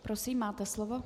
Prosím, máte slovo.